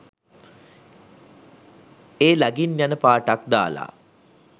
ඒ ලගින් යන පාටක් දාලා